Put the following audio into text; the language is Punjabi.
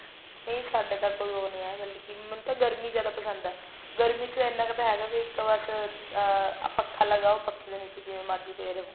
ਨਹੀਂ ਸਾਡੇ ਤਾਂ ਕੋਈ ਉਹ ਨਹੀਂ ਹੈ ਮਤਲਬ ਕੀ ਗਰਮੀ ਜਿਆਦਾ ਪਸੰਦ ਹੈ ਗਰਮੀ ਚ ਇੰਨਾ ਤਾਂ ਹੈਗਾ ਵੀ ਇੱਕ ਬਸ ਅਮ ਪੱਖਾ ਲਗਾਓ ਪੱਖੇ ਦੇ ਨੀਚੇ ਜਿਵੇਂ ਮਰਜ਼ੀ ਪਏ ਰਹੋ